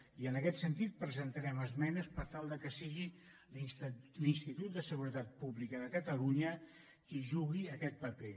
i en aquest sentit presentarem esmenes per tal que sigui l’institut de seguretat pública de catalunya qui jugui aquest paper